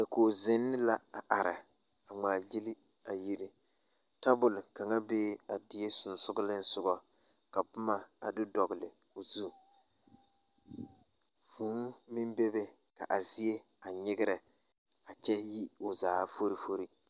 Dakoɡi zenee la a are a ŋmaaɡyili a yiri tabuli kaŋa bee a die sonsooleŋsoɡa ka boma a do dɔɔle o zusoɡa vūū meŋ bebe ka a zie a nyeɡerɛ kyɛ yi o zaa forifori.